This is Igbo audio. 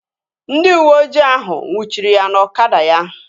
Ndị uweojii ahụ nnwuchiri ya na ọkada ya